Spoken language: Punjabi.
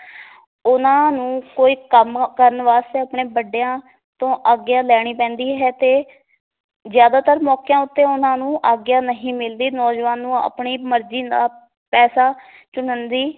ਉਹਨਾਂ ਨੂੰ ਕੋਈ ਕੰਮ ਕਰਨ ਵਾਸਤੇ ਆਪਣੇ ਵੱਡਿਆਂ ਤੋਂ ਆਗਿਆ ਲੈਣੀ ਪੈਂਦੀ ਹੈ ਤੇ ਜ਼ਿਆਦਾਤਰ ਮੌਕਿਆਂ ਉੱਤੇ ਉਹਨਾਂ ਨੂੰ ਆਗਿਆ ਨਹੀਂ ਮਿਲਦੀ ਨੌਜਵਾਨ ਨੂੰ ਆਪਣੀ ਮਰਜੀ ਨਾਲ ਪੈਸਾ ਚੁਣਨ ਦੀ